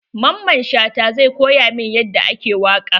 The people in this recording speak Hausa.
Mamman Shata zai ko ya min yadda ake waƙa.